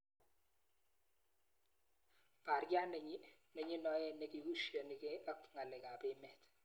Parriat nenyineot nikiushanigei ak ng'alek ab emet.